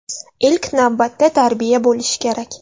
Ilk navbatda tarbiya bo‘lishi kerak.